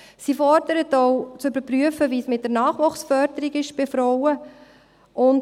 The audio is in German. Sie fordert auch, zu überprüfen, wie es mit der Nachwuchsförderung bei Frauen ist.